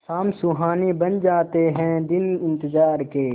शाम सुहानी बन जाते हैं दिन इंतजार के